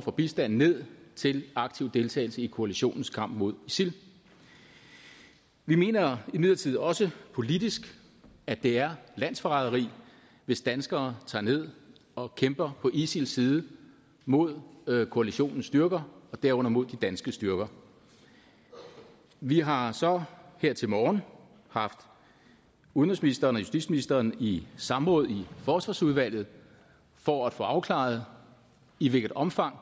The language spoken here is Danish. for bistand ned til aktiv deltagelse i koalitionens kamp mod isil vi mener imidlertid også politisk at det er landsforræderi hvis danskere tager ned og kæmper på isils side mod koalitionens styrker og derunder mod de danske styrker vi har så her til morgen haft udenrigsministeren og justitsministeren i samråd i forsvarsudvalget for at få afklaret i hvilket omfang